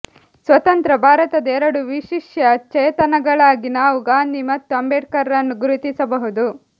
ಸ್ವತಂತ್ರ ಭಾರತದ ಎರಡು ವಿಶಿಷ್ಯ ಚೇತನಗಳಾಗಿ ನಾವು ಗಾಂಧಿ ಮತ್ತು ಅಂಬೇಡ್ಕರ್ ರನ್ನು ಗುರುತಿಸಬಹುದು